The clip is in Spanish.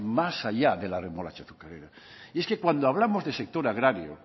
más allá de la remolacha azucarera y es que cuando hablamos de sector agrario